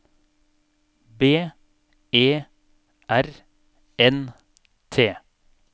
B E R N T